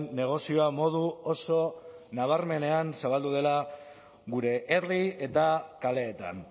negozioa modu oso nabarmenean zabaldu dela gure herri eta kaleetan